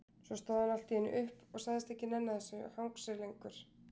Svo stóð hann allt í einu upp og sagðist ekki nenna þessu hangsi lengur.